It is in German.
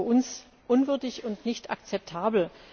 Das ist für uns unwürdig und nicht akzeptabel.